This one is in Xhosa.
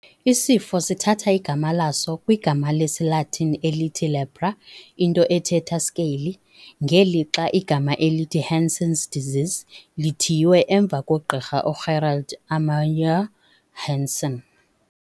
Isifo sithatha igama laso kwigama lesi-Latin elithi "lepra" into ethetha "scaly", ngelixa igama elithi "Hansen's disease" lithiywe emva kogqirha uGerhard Armauer Hansen.